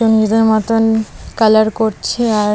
নিজের মতন কালার করছে আর--